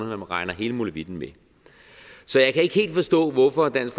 man regner hele molevitten med så jeg kan ikke helt forstå hvorfor dansk